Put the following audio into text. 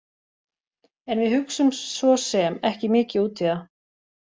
En við hugsum svo sem ekki mikið út í það.